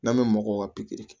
N'an bɛ mɔgɔw ka pikiri kɛ